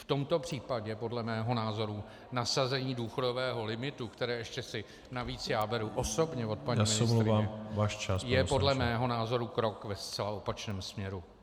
V tomto případě podle mého názoru nasazení důchodového limitu, které ještě si navíc já beru osobně od paní ministryně , je podle mého názoru krok ve zcela opačném směru.